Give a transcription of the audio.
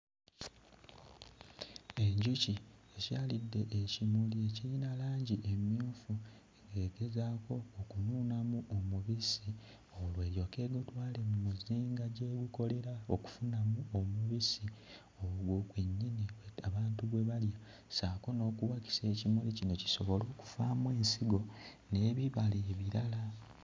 Enjuki ekyalidde ekimuli ekirina langi emmyufu ng'egezaako okunuunamu omubisi olwo eryoke egutwale mu muzinga gy'egukolera okufunamu omubisi ogwo gwennyini abantu gwe balya, ssaako n'okuwakisa ekimuli kino kisobole okuvaamu ensigo n'ebibala ebirala.